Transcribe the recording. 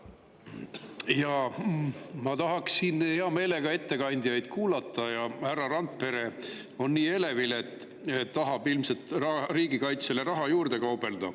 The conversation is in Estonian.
Jaa, ma tahaksin hea meelega ettekandjaid kuulata, aga härra Randpere on nii elevil, ta tahab ilmselt riigikaitsele raha juurde kaubelda.